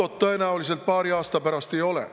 NATO-t tõenäoliselt paari aasta pärast ei ole.